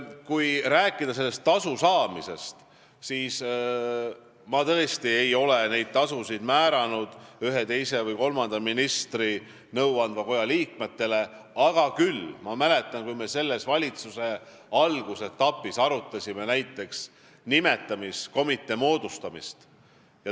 Kui rääkida sellest tasust, siis mina tõesti ei ole määranud neid tasusid ühe, teise või kolmanda ministri nõuandva koja liikmetele, aga küll ma mäletan seda, kui me selle valitsuse algusetapis arutasime näiteks nimetamiskomitee moodustamist.